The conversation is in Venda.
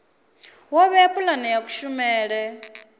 wo vhea pulane ya kushumele